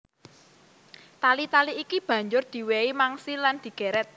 Tali tali iki banjur diwèhi mangsi lan digèrèt